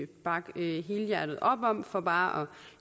bakke helhjertet op om for bare